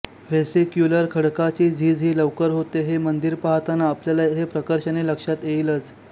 vesicular खडकाची झीज ही लवकर होते हे मंदिर पाहताना आपल्याला हे प्रकर्षाने लक्षात येईलच